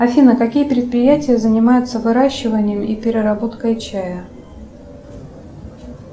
афина какие предприятия занимаются выращиванием и переработкой чая